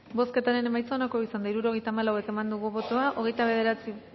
bozketaren emaitza onako izan da hirurogeita hamalau eman dugu bozka hogeita bederatzi